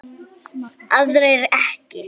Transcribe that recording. aðrir ekki